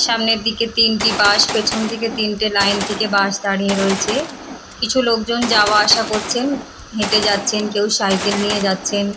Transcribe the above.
সামনের দিকে তিনটি বাস পেছন থেকে তিনটে লাইন থেকে বাস দাঁড়িয়ে রয়েছে কিছু লোকজন যাওয়া আসা করছেন হেঁটে যাচ্ছেন কেউ সাইকেল নিয়ে যাচ্ছেন।